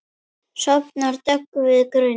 Sofnar döggvuð grund.